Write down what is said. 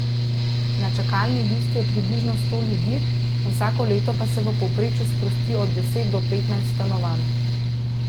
Na čakalni listi je približno sto ljudi, vsako leto pa se v povprečju sprosti od deset do petnajst stanovanj.